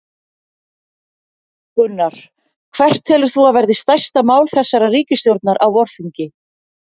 Gunnar: Hvert telur þú að verði stærsta mál þessarar ríkisstjórnar á vorþingi?